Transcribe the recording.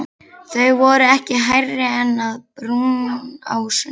Þau voru ekki hærri en að brúnásunum.